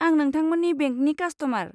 आं नोथांमोननि बेंकनि कास्ट'मार।